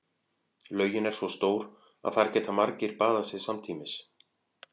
Laugin er svo stór að þar geta margir baðað sig samtímis.